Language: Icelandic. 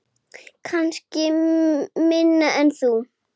Kannski minna en þú.